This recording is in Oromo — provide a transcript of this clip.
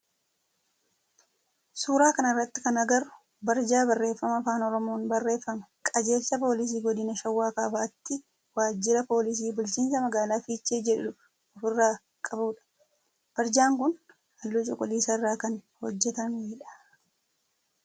Suuraa kana irratti kan agarru barjaa barreeffama afaan oromoon barreeffame qajeelcha poolisii godina shawaa kaabaatti waajjira poolisii bulchiinsa magaalaa fiichee jedhu of irraa qabudha. Barjaa kun halluu cuquliisa irraa kan hojjetamedha.